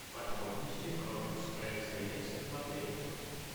подробности про экспресс заезд в отель